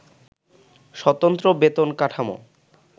স্বতন্ত্র বেতন কাঠামো